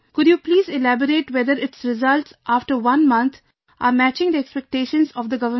Could you please elaborate whether its results after one month are matching the expectations of the Government